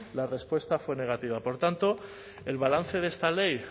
la respuesta fue negativa por tanto el balance de esta ley